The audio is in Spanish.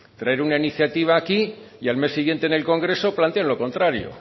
traer una iniciativa aquí y al mes siguiente en el congreso plantean lo contario